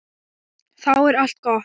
Þá er allt gott.